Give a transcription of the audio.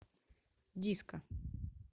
диско